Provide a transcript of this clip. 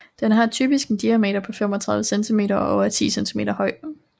Den har typisk en diameter på 35 cm og er 10 cm høj